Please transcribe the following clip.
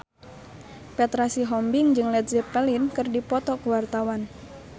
Petra Sihombing jeung Led Zeppelin keur dipoto ku wartawan